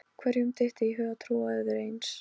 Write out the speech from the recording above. Hverjum dytti í hug að trúa öðru eins?